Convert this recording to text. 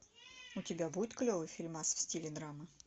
у тебя будет клевый фильмас в стиле драмы